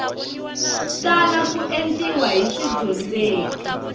tala ku endliwa hi swidyondzeki